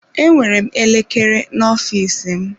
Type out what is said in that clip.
Enwere m elekere n'ofiisi m.